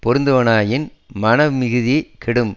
பொருந்துவனாயின் மன மிகுதி கெடும்